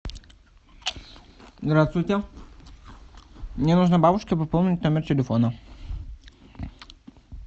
здравствуйте мне нужно бабушке пополнить номер телефона